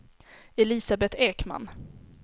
Elisabeth Ekman